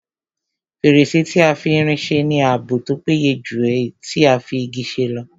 Fèrèsé tí a fi irin se ní ààbò tó péye jù èyí tí a fi Igi ṣe lọ